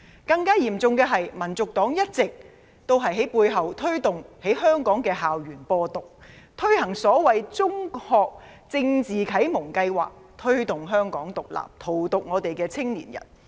更嚴重的是，香港民族黨一直推動在香港校園"播獨"，推行所謂中學政治啟蒙計劃，推動"香港獨立"，荼毒香港青年。